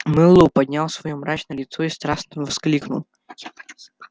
мэллоу поднял своё мрачное лицо и страстно воскликнул